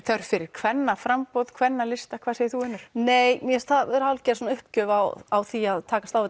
þörf fyrir kvennaframboð kvennalista hvað segir þú Unnur nei mér finnst það vera hálfgerð uppgjöf á á því að takast á